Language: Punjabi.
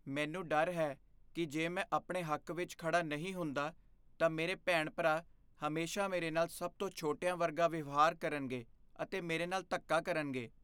ਮੈਨੂੰ ਡਰ ਹੈ ਕੀ ਜੇ ਮੈਂ ਆਪਣੇ ਹੱਕ ਵਿੱਚ ਖੜਾ ਨਹੀਂ ਹੁੰਦਾ, ਤਾਂ ਮੇਰੇ ਭੈਣ ਭਰਾ ਹਮੇਸ਼ਾ ਮੇਰੇ ਨਾਲ ਸਭ ਤੋਂ ਛੋਟਿਆਂ ਵਰਗਾਂ ਵਿਵਹਾਰ ਕਰਨਗੇ ਅਤੇ ਮੇਰੇ ਨਾਲ ਧੱਕਾ ਕਰਨਗੇ